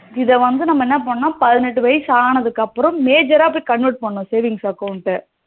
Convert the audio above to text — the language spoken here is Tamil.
இது வந்து நம்ம என்ன பண்ணனும் அப்படின்னா பதினெட்டு வயசு ஆனதுக்கு அப்புறம் major போய் convert பண்ணனும் saving account ட